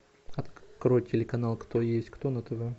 открой телеканал кто есть кто на тв